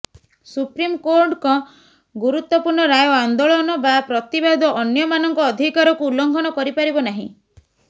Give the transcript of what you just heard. ସୁପ୍ରିମକୋର୍ଟଙ୍କ ଗୁରୁତ୍ବପୂର୍ଣ୍ଣ ରାୟ ଆନ୍ଦୋଳନ ବା ପ୍ରତିବାଦ ଅନ୍ୟମାନଙ୍କ ଅଧିକାରକୁ ଉଲ୍ଲଂଘନ କରିପାରିବ ନାହିଁ